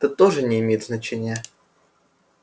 это тоже не имеет значения